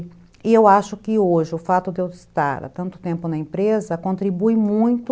E eu acho que hoje o fato de eu estar há tanto tempo na empresa contribui muito